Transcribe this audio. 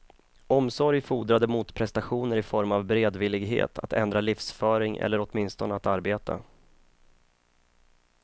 Omsorg fordrade motprestationer i form av beredvillighet att ändra livsföring eller åtminstone att arbeta.